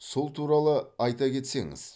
сол туралы айта кетсеңіз